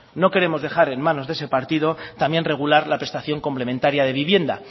no queremos dejar en manos de ese partido también regular la prestación complementaria de vivienda